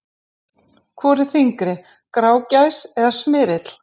Hvor er þyngri; grágæs eða smyrill?